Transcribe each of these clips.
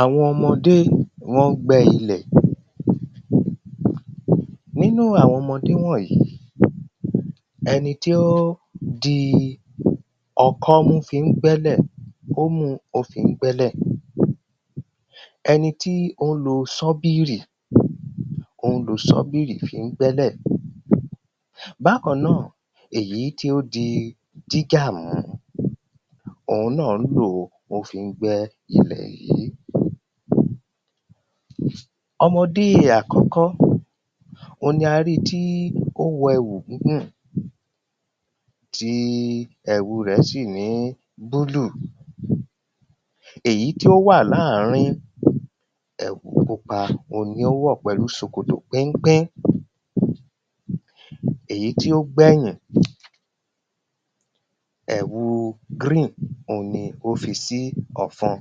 àwọn ọmọdé wọ́n ń gbẹ́ ilẹ̀, nínú àwọn ọmọdé wọ̀nyí, ẹni tí ó di ọkọ́ mú fi ń gbẹ̀lẹ̀, ó múu ó fi ń gbẹ́lẹ̀ ẹnití ó ń lo ṣọ́bírì, ó ń lo ṣọ́bírì fi ń gbẹ́lẹ̀ bákan náà, èyí tí ó di dígà mú, ohun náà ń lòó, ó fi ń gbẹ́ ilẹ̀ yìí ọmọdé àkọ́kọ́, ohun ni a ríi tí ó wọ ẹ̀wú bí pé tíí ẹ̀wù rẹ̀ síì ní búlù, èyí tí ó wà láàrín, ẹ̀wú pupa ohun ni ó wọ̀ pẹ̀lú ṣòkòtò péńpé èyí tí ó gbẹ̀yìn, ẹ̀wu gríìn ohun ni ó fi sí ọ̀fun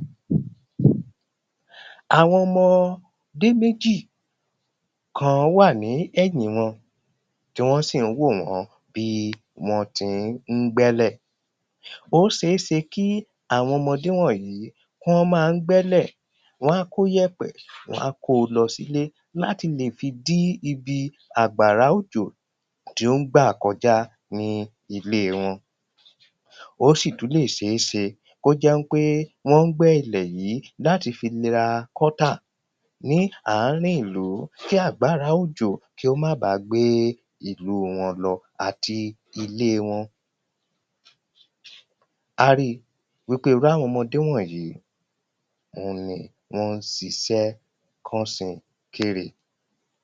àwọn ọmọdé méjì kan wà ní ẹ̀yín wọn tí wọ́n sì ń wò wọ́n bí wọ́n tin ń gbẹ̀lẹ̀ ó seése kí àwọn ọmọdé wọ̀nyí, kú wọ́n ma ń gbẹ́lẹ̀, wán kó yẹ̀pẹ̀ wán kóo lọ sílé láti lè fi dí ibi àgbàrá òjò tí ó ń gbà kọjá ní ilé wọn. ó ṣì tún lè ṣeéṣe kó jẹ́ ń pé wọ́n ń gbé ilẹ̀ láti fi la gọ́tà ní àárìn ìlú. kí àgbàrá òjó kí ó má bàá gbé ìlú wọn lọ àti ilé wọn a ríi wípé irú àwọn ọmọdé wọ̀nyí, ohun ni wọ́n ṣiṣẹ́ kánṣekére